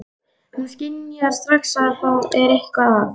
Hún skynjar strax að það er eitthvað að.